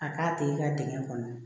A k'a t'e ka dingɛ kɔnɔ